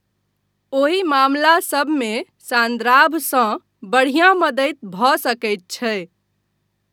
ओहि मामलासभमे सान्द्राभसँ बढ़िया मदति भऽ सकैत छै।